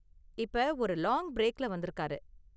இப்ப ஒரு லாங் பிரேக்ல வந்திருக்காரு.